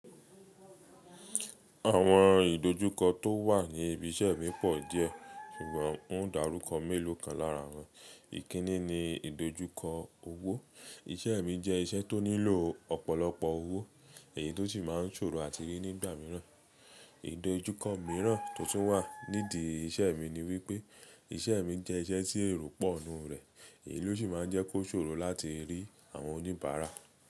Àwọn ìdojúkọ tó wà ní ibi iṣẹ́ mi pọ̀ díẹ̀, ṣùgbọ́n n ó dàrúko mélòó kan lára wọn. Ìkíni ni ìdojúkọ owó. Iṣẹ́ mi jẹ́ iṣẹ́ tó nílò ọ̀pọ̀lọpọ̀ owó, èyí tọ́ sì máa ń ṣòro àti rí nígbà míràn. Ìdojúkọ mìíràn tó tún wà nídi iṣẹ́ mi ni wípé iṣẹ́ mi jẹ́ iṣẹ́ tí èrò pọ̀ nínu rẹ̀, èyí ló sì máa ń jẹ́ kó ṣòro láti rí àwọn oníbàárà.